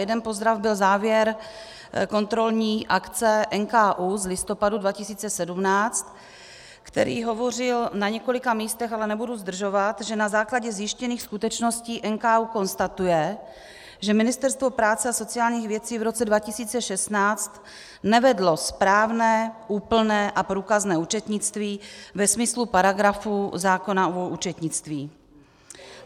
Jeden pozdrav byl závěr kontrolní akce NKÚ z listopadu 2017, který hovořil na několika místech, ale nebudu zdržovat, že na základě zjištěných skutečností NKÚ konstatuje, že Ministerstvo práce a sociálních věcí v roce 2016 nevedlo správné, úplné a průkazné účetnictví ve smyslu paragrafů zákona o účetnictví.